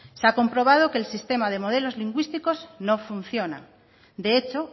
se ha comprobado que el sistema de modelos lingüísticos no funciona de hecho